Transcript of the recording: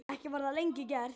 Ekki var það lengi gert.